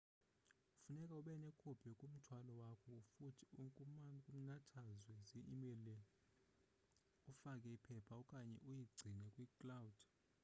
funeke ubenekopi kumthwalo wakho futhi kumnathazwe zi-email-ele ufake iphepha okanye uyigcine kwi-"cloud"